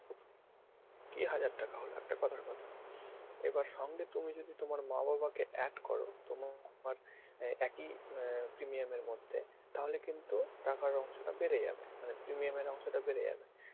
কী হাজার টাকা হলো একটা কথার কথা এবার সঙ্গে তুমি যদি তোমার মা বাবাকে add করো তোমার এ~ এক ই আহ premium এর মধ্যে তাহলে কিন্তু টাকার অংশটা বেড়ে যাবে মানে premium এর অংশটা বেড়ে যাবে।